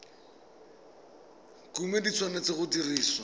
kumo di tshwanetse go dirisiwa